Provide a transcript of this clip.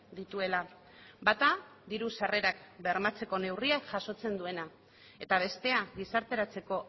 dituela bata diru sarrerak bermatzeko neurriak jasotzen duena eta bestea gizarteratzeko